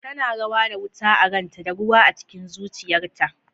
Tana rawa da wuta a ranta da ruwa a cikin zuciyarta.